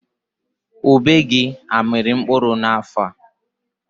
Ube gị amịrị mkpụrụ n'afọ a?